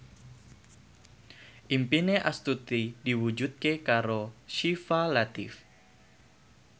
impine Astuti diwujudke karo Syifa Latief